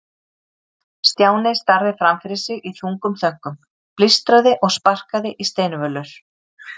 Stjáni starði fram fyrir sig í þungum þönkum, blístraði og sparkaði í steinvölur.